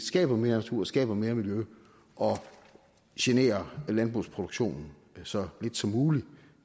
skaber mere natur og skaber mere miljø og generer landbrugsproduktionen så lidt som muligt